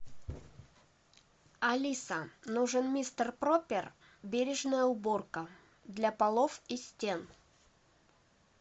алиса нужен мистер пропер бережная уборка для полов и стен